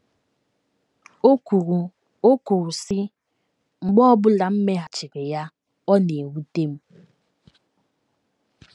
O kwuru, O kwuru, sị: “ Mgbe ọ bụla m meghachiri ya, ọ na - ewute m.